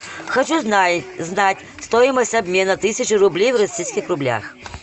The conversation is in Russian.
хочу знать стоимость обмена тысячи рублей в российских рублях